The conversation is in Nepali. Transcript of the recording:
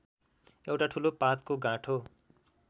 एउटा ठूलो पातको गाँठो